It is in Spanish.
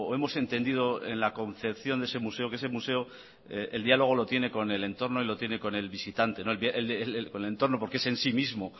hemos entendido en la concepción de ese museo que ese museo el diálogo lo tienen con el entorno y lo tiene con el visitante con el entorno porque es en sí mismo